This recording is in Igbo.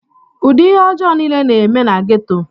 ụdị ihe ọjọọ niile na-eme na geto